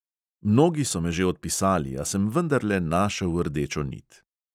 Mnogi so me že odpisali, a sem vendarle našel rdečo nit.